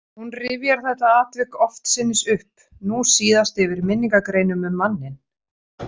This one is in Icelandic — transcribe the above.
Hún rifjar þetta atvik oftsinnis upp, nú síðast yfir minningargreinum um manninn.